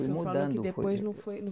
O senhor falou que depois não foi